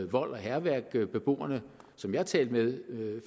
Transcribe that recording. vold og hærværk beboerne som jeg talte med